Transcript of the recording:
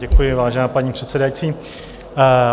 Děkuji, vážená paní předsedající.